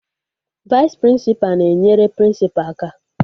Vaịs prịnsịpa na-enyere prịnsịpa aka